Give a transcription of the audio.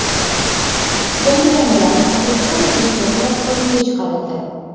Yangilangan ruscha-o‘zbekcha lug‘at sotuvga chiqarildi.